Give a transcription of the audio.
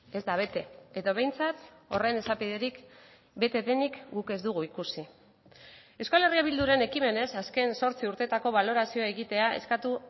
ez da bete edo behintzat horren esapiderik bete denik guk ez dugu ikusi euskal herria bilduren ekimenez azken zortzi urteetako balorazioa egitea eskatu